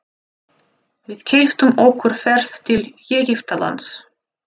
Við keyptum okkur ferð til Egyptalands.